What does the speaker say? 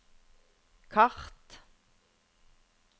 kart